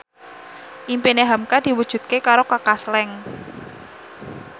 impine hamka diwujudke karo Kaka Slank